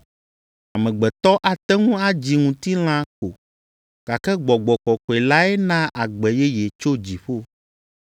Amegbetɔ ate ŋu adzi ŋutilã ko, gake Gbɔgbɔ Kɔkɔe lae naa agbe yeye tso dziƒo.